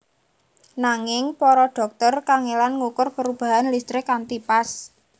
Nanging para dhokter kangelan ngukur perubahan listrik kanthi pas